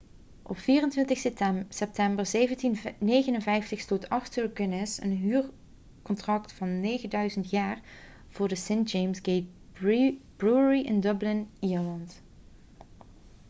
op 24 september 1759 sloot arthur guinness een huurcontract van 9000 jaar voor de st james' gate brewery in dublin ierland